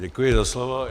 Děkuji za slovo.